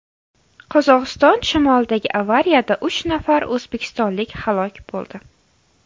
Qozog‘iston shimolidagi avariyada uch nafar o‘zbekistonlik halok bo‘ldi.